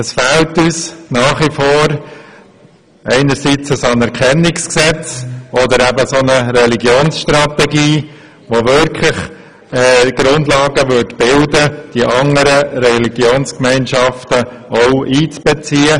Es fehlt uns nach wie vor ein Anerkennungsgesetz, oder eben eine Religionsstrategie, welche die Grundlage bilden würde, um die anderen Religionsgemeinschaften einzubeziehen.